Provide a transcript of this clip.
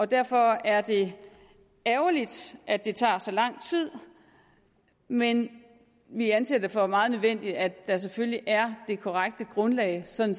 derfor er det ærgerligt at det tager så lang tid men vi anser det for meget nødvendigt at der selvfølgelig er det korrekte grundlag sådan